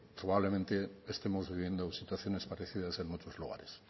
probablemente estemos viviendo situaciones parecidas en muchos lugares